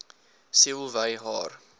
siel wy haar